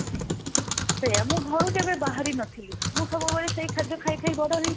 ସେଇଆ ମୁଁ ଘରୁ କେବେ ବାହାରି ନଥିଲି ମୁଁ ସବୁବେଳେ ସେଇ ଖାଦ୍ୟ ଖାଇ ଖାଇ ବଡ ହେଇଛି